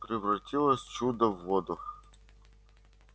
превратилась чудо в воду